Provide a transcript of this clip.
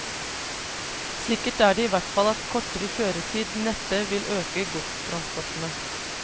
Sikkert er det i hvert fall at kortere kjøretid neppe vil øke godstransportene.